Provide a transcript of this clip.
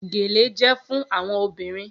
Gele jẹ fun awọn obirin